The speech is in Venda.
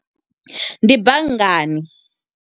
Ndi banngani.